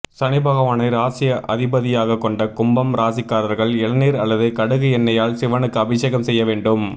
சனிபகவானை ராசி அதிபதியாக கொண்ட கும்பம் ராசிக்காரர்கள் இளநீர் அல்லது கடுகு எண்ணெயால் சிவனுக்கு அபிஷகம் செய்ய வேண்டும்